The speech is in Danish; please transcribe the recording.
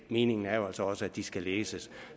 meningen er jo altså også at de skal læses